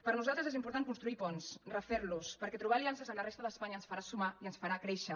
per nosaltres és important construir ponts refer los perquè trobar aliances amb la resta d’espanya ens farà sumar i ens farà créixer